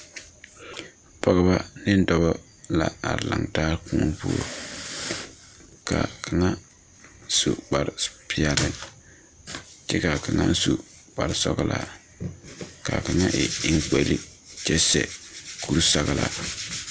Pɔgeba ne dɔba la are laŋ taa koɔ poɔ ka kaŋa su kpare peɛli kyɛ kaa kaŋa su kpare sɔglaa kaa kaŋa e enkpoli kyɛ seɛ kuri sɔglaa.